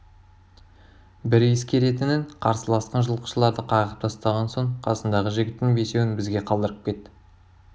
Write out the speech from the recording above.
бір ескеретінің қарсыласқан жылқышыларды қағып тастаған соң қасындағы жігіттің бесеуін бізге қалдырып кет